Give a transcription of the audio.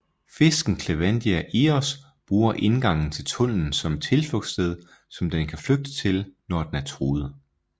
Fisken Clevelandia ios bruger indgangen til tunnelen som et tilflugtssted som den kan flygte til når den er truet